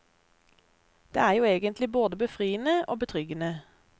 Det er jo egentlig både befriende og betryggende.